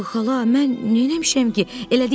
Axı xala, mən neyləmişəm ki?